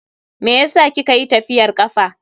Meyasa kika yi tafiyar kafa?